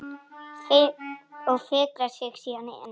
Og fikrar sig síðan innar?